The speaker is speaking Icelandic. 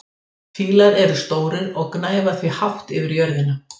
Fílar eru stórir og gnæfa því hátt yfir jörðina.